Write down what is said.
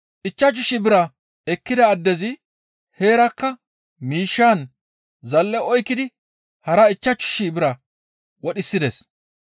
Ichchashu shii bira ekkida addezi heerakka miishshaan zal7e oykkidi hara ichchashu shii bira wodhisides.